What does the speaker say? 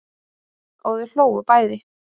Og þau hlógu bæði.